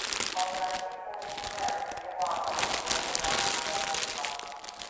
Ọ̀ ga - adị mma onye Kraịst inwe àgwà nke Onye Na - atụchasị Mmadụ?